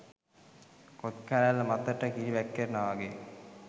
කොත් කැරැල්ල මතට කිරි වැක්කෙරෙනවා වගේ.